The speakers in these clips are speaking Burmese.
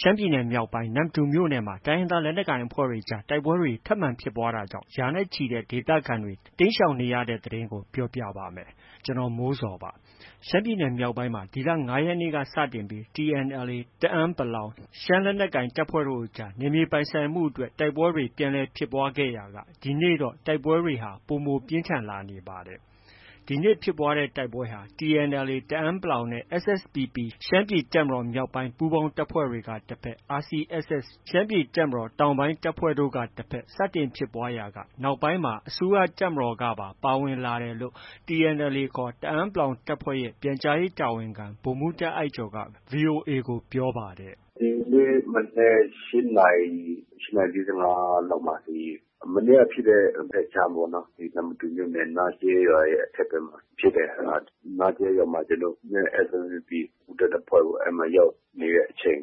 ရှမ်းပြည်နယ် မြောက်ပိုင်း နမ္မတူမြို့နယ်မှာ တိုင်းရင်းသားလက်နက်ကိုင်အဖွဲ့တွေကြား တိုက်ပွဲတွေ ထပ်မံဖြစ်ပွားနေတာကြောင့် ရာနဲ့ချီတဲ့ ဒေသခံတွေ တိမ်းရှောင်နေရတဲ့သတင်းကို ဗွီအိုအေမြန်မာပိုင်း သတင်းထောက် ကိုမိုးဇော်က ပြောပြပါမယ်။ ရှမ်းပြည်နယ်မြောက်ပိုင်းမှာ ဒီလ ၅ ရက်နေ့ကစတင်ပြီး TNLA တအန်း ရှမ်းလက်နက်ကိုင် တပ်ဖွဲ့တို့ကြား နယ်မြေပိုင်ဆိုင်မှုအတွက် အငြင်းပွားရာက တိုက်ပွဲတွေပြန်လည်ဖြစ်ပွားခဲ့ရာက ဒီကနေ့မှာတော့ တိုက်ပွဲတွေဟာ ပိုပြင်းထန်လာနေပါတယ် ဒီနေ့ ဖြစ်ပွားတဲ့တိုက်ပွဲဟာ TNLA တအန်း နဲ့ SSPP ရှမ်းပြည်တပ်မတော်မြောက်ပိုင်း ပူးပေါင်းတပ်တွေကတဘက်၊ RCSS ရှမ်းပြည်တပ်မတော် တောင်ပိုင်းတပ်ဖွဲ့တို့ကတဘက် စတင်ဖြစ်ပွားရာက နောက်ပိုင်းအစိုးရတပ်မတော်ပါ ပါဝင်လာတယ်လို့ TNLA ခေါ် တအန်း တပ်ဖွဲ့ရဲ့ ပြန်ကြားရေးတာဝန်ခံ ဗိုလ်မှူး တာ့အိုက်ကျော်က VOA ကို အခုလို ပြောပါတယ်။ “ဒီနေ့ မနက် ၈ နာရီ၊ ၈ နာရီ ၄၅ လောက်မှာ ဒီ မနေ့ကဖြစ်တဲ့ဘက်ခြမ်းပေါ့။ နမ္မတူမြို့နယ် နားကျဲရွာရဲ့ အထက်ဘက်မှာ ဖြစ်တယ်။ နားကျဲရွာမှာ ကျနော်တို့နဲ့ SSPP ပူးတွဲ တပ်ဖွဲ့ပေါ့။ အဲဒီမှာ ရောက်နေတဲ့အချိန်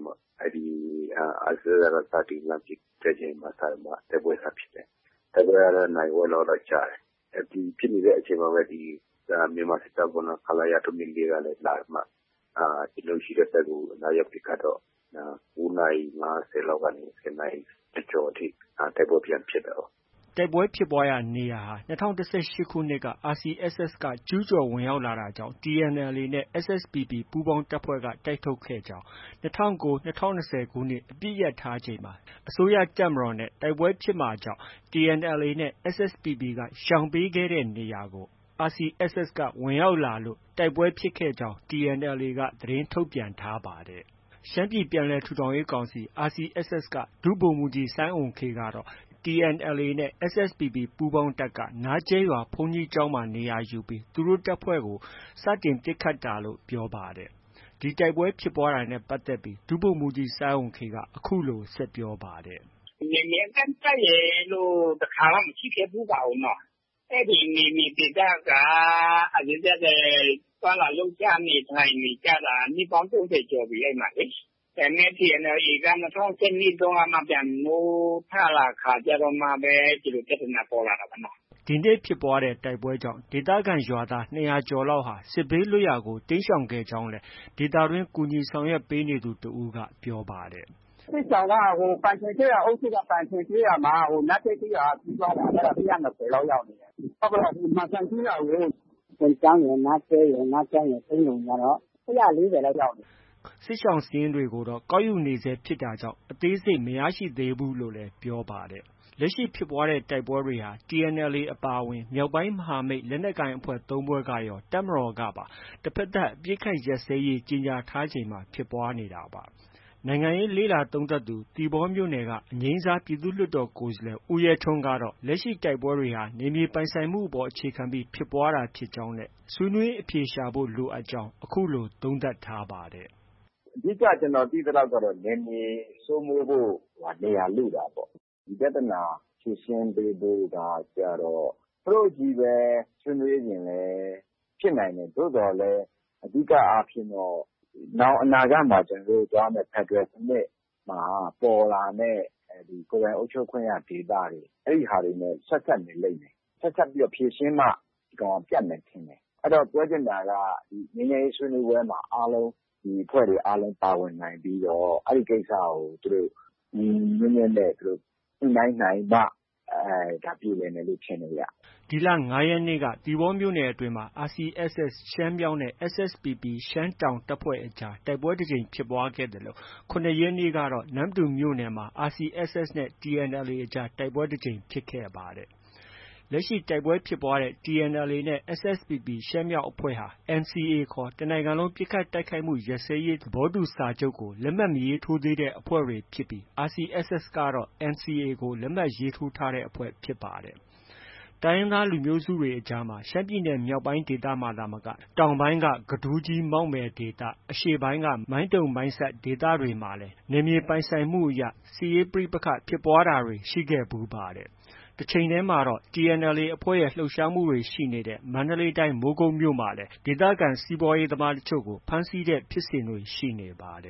RCSS က စတင်ပြီးပစ်တဲ့အချိန်မှာ တိုက်ပွဲစဖြစ်တယ်။ တိုက်ပွဲကတော့ နာရီဝက်လောက်တော့ ကြာတယ်။ ဖြစ်နေတဲ့အချိန်မှာပဲ ဒီ မြန်မာစစ်တပ်ပေါ့။ ခလရ ၃၂၄ ကလည်း လာပြီးမှ ကျနော်တို့ ရှိတဲ့ဘက်ကို လာရောက်ပစ်ခတ်တော့ ၉ နာရီ ၅၀ လောက်ကနေ ၁၀ နာရီကျော်ကျော်အထိ တိုက်ပွဲပြန်ဖြစ်တာပေါ့။” တိုက်ပွဲဖြစ်ပွားရာနေရာဟာ ၂၀၁၈ ခုနှစ်က RCSS က ကျူးကျော်ဝင်ရောက်ခဲ့တာကြောင့် TNLA နဲ့ SSPP ပူးပေါင်းတပ်ဖွဲ့က တိုက်ထုတ်ခဲ့ကြောင်း၊ ၂၀၁၉- ၂၀၂၀ခုနှစ် အပစ်ရပ်ထားချိန်မှာ အစိုးရတပ်မတော်နဲ့ တိုက်ပွဲဖြစ်မှာကြောင့် TNLA နဲ့ SSPP က ရှောင်ပေးခဲ့နေရာတွေကို RCSS က ဝင်ရောက်လာတာကြောင့် တိုက်ပွဲဖြစ်ပွားတာဖြစ်ကြောင်း TNLA က သတင်းထုတ်ပြန်ထားပါတယ်။ ရှမ်းပြည်ပြန်လည်ထူထောင်ရေးကောင်စီ RCSS က ဒု ဗိုလ်မှူးကြီး စိုင်းအုမ်ခေးကတော့ TNLAနဲ့ SSPP ပူးပေါင်းတပ်က နားကျဲရွာဘုန်းကြီးကျောင်းမှာ နေရာယူပြီး သူတို့တပ်ဖွဲ့ကို စတင်ပစ်ခတ်တာလို့ ပြောပါတယ်။ ဒီလို တိုက်ပွဲဖြစ်ပွားတာနဲ့ ပတ်သက်လို့ ဒု ဗိုလ်မှုးကြီး စိုင်းအုမ်ခေးက အခုလို ဆက်ပြောပါတယ်။ “နယ်မြေအကန့်အသတ်ရယ်လို့ တစ်ခါမှ မရှိခဲ့ဖူးပါဘူးနော။ အဲဒီနယ်မြေဒေသက RCSS က သွားလာနေထိုင်လှုပ်ရှားနေကြတာ နှစ်ပေါင်း ၃၀ ကျော်ပြီလေ။ ဒါပေမဲ့ TNLA က ၂၀၁၂မှ ပြန်နိုးထလာကာကျတော့မှပဲ ဒီလို ပြဿနာပေါ်လာတာပါနော်။ ” ဒီနေ့ ဖြစ်ပွားတဲ့တိုက်ပွဲကြောင့် ဒေသခံရွာသား ၂၀၀လောက်ဟာ စစ်ဘေးလွတ်ရာကို တိမ်းရှောင်ခဲ့ကြကြောင်း ဒေသတွင်း ကူညီရေးဆောင်ရွက်နေသူတစ်ဦးက အခုလို ပြောပါတယ်။ “စစ်ရှောင်က ပန်ကျင်ကျေးရွာအုပ်စု ပန်ကျင်ကျေးရွာကို နားကျဲကျေးရွာက ပြေးသွားတာ ၁၂၀ လောက် ရောက်နေတယ်။ မန်စံကျေးရွာကို ပွန်ကျောင်းရယ်၊ နားကျဲရယ်၊ နားကျိုင်းရယ်၊ ပိန်းလုံရယ်ကတော့ ၁၄၀လောက်ရောက်နေတယ်။” စစ်ရှောင်စာရင်းတွေဟာ ကောက်ယူနေဆဲရှိဖြစ်တာကြောင့် အသေးစိတ်မရရှိသေးဘူးလို့လည်း ပြောပါတယ်။ လက်ရှိဖြစ်ပွားတဲ့တိုက်ပွဲတွေဟာ TNLA အပါအဝင် မြောက်ပိုင်း မဟာမိတ်လက်နက်ကိုင်အဖွဲ့ ၃ ဖွဲ့ကရော တပ်မတော်ကပါ တဘက်သတ်အပစ်အခတ်ရပ်စဲရေး ကြေညာထားချိန်မှာပဲ ဖြစ်ပွားနေတာပါ။ နိုင်ငံရေးလေ့လာသုံးသပ်သူ သီပေါမြို့နယ်က အငြိမ်းစား ပြည်သူ့လွှတ်တော်ကိုယ်စားလှယ် ဦးရဲထွန်းကတော့ လက်ရှိတိုက်ပွဲတွေဟာ နယ်မြေပိုင်ဆိုင်မှုအပေါ် အခြေခံပြီး ဖြစ်ပွားတာဖြစ်ကြောင်းနဲ့ ဆွေးနွေးအဖြေရှာဖို့ လိုအပ်ကြောင်း အခုလို သုံးသပ်ထားပါတယ်။ “အဓိက ကျနော်သိတာတော့ နယ်မြေစိုးမိုးဖို့ နေရာလုတာပဲ။ ဒီပြဿနာဖြေရှင်းပေးဖို့ကကျတော့ သူတို့ချည်းပဲ ဆွေးနွေးရင်လည်း ဖြစ်နိုင်တယ်။ သို့သော်လည်း အဓိက အားဖြင့်တော့ နောင်အနာဂတ်မှာ ကျနော်တို့ သွားမယ့် ဖက်ဒရယ်စနစ် ပေါ်လာမယ့် ကိုယ်ပိုင်အုပ်ချုပ်ခွင့်ရဒေသတွေ အဲဒီဟာတွေနဲ့ ဆက်စပ်နေလိမ့်မယ်။ ဆက်စပ်ပြီးတော့ ဖြေရှင်းမှ ပြတ်မယ်ထင်တယ်။ အဲတော့ ပြောချင်တာက ငြိမ်းချမ်းရေးဆွေးနွေးပွဲမှာ အားလုံး ဒီအဖွဲ့တွေအားလုံးပါဝင်နိုင်ပြီးတော့ အဲဒီကိစ္စကို သူတို့ ညီညီညွတ်ညွတ်နဲ့ ညှိနှိုင်းနိုင်မှ ပြေလည်မယ်လို့ ထင်တယ်ဗျ။ ” ဒီလ ၅ ရက်နေ့က သီပေါမြို့နယ်အတွင်းမှာ RCSS ရှမ်းမြောက်နဲ့ SSPP အကြား တိုက်ပွဲတစ်ကြိမ်ဖြစ်ပွားခဲ့သလို ၇ ရက်နေ့ကတော့ နမ္မတူမြို့နယ်မှာ RCSS နဲ့ TNLA အကြားတိုက်ပွဲ တစ်ကြိမ်ဖြစ်ခဲ့ပါတယ်။ လက်ရှိ တိုက်ပွဲဖြစ်ပွားခဲ့တဲ့ TNLAနဲ့ SSPP ရှမ်းမြောက်အဖွဲ့ဟာ NCA ခေါ် တစ်နိုင်ငံလုံးပစ်ခတ်တိုက်ခိုက်မှုရပ်စဲရေးစာချုပ်ကို လက်မှတ် မရေးထိုးသေးတဲ့အဖွဲ့တွေဖြစ်ပြီး RCSS ကတော့ NCA ကို လက်မှတ် ရေးထိုးထားတဲ့အဖွဲ့ဖြစ်ပါတယ်။ တိုင်းရင်းသားလူမျိုးစုတွေအကြားမှာ ရှမ်းပြည်နယ်မြောက်ပိုင်းဒေသမှာသာမက တောင်ပိုင်းက ကဒူးကြီး၊ မောက်မယ်ဒေသ၊ အရှေ့ပိုင်းက မိုင်းတုံ၊မိုင်းဆတ်ဒေသတွေဟာလည်း နယ်မြေပိုင်ဆိုင်မှုအရ တိုင်းရင်းသားလက်နက်ကိုင်အဖွဲ့အကြားမှာ စစ်ရေးပဋိပက္ခဖြစ်ပွားဖူးတဲ့ ဒေသတွေဖြစ်ပါတယ်။ တချိန်တည်းမှာပဲ TNLA အဖွဲ့ရဲ့ လှုပ်ရှားမှုတွေရှိနေတဲ့ မန္တလေးတိုင်း မိုးကုတ်မြို့မှာလည်း ဒေသခံ စီးပွားရေး သမားတချို့ကို ဖမ်းဆီးထားတဲ့ ဖြစ်စဉ်တွေ ရှိနေပါတ